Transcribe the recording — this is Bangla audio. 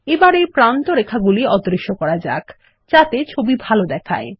এবার এই প্রান্তরেখাগুলি অদৃশ্য করা যাক যাতে ছবি ভাল দেখায়